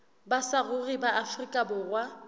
ba saruri ba afrika borwa